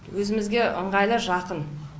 өзімізге ыңғайлы жақын